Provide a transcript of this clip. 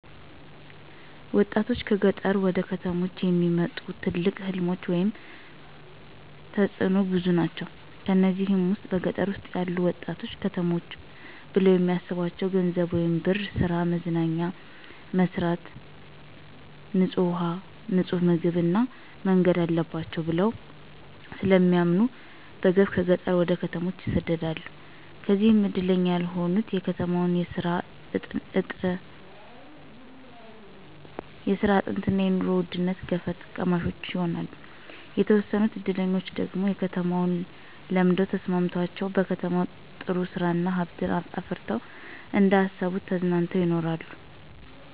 ወጣቶችን ከገጠር ወደ ከተሞች የሚያመጡ ትልቅ ሕልሞች ወይም ተጥኖዎች ብዙ ናቸው። ከነዚህም ውስጥ በገጠር ውስጥ ያሉ ወጣቶች ከተሞችን ብለው የሚስቧቸው ገንዘብ ወይም ብር፣ ሥራ፣ መዝናኛ፣ መብራት፣ ንጡህ ውሃ፣ ንጡህ ምግብ እና መንገድ አለባቸው ብለው ስለሚያምኑ በገፍ ከገጠር ወደ ከተሞች ይሰደዳሉ። ከዚያም እድለኛ ያልሆኑት የከተማን የስራ አጥነትና የኑሮ ውድነት ገፈት ቀማሽ ይሆናሉ። የተወሰኑት እድለኞች ደግሞ ከተማውን ለምደው ተስማምቶቸው በከተማው ጥሩ ስራ እና ሀብት አፍረተው እንደ አሰቡት ተዝናንተው ይኖራሉ።